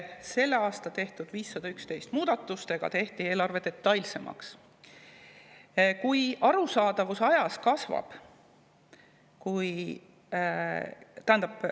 Sellel aastal tehti 511 muudatusega eelarve detailsemaks.